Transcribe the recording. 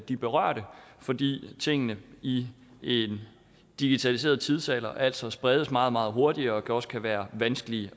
de berørte fordi tingene i en digitaliseret tidsalder altså spredes meget meget hurtigere og også kan være vanskelige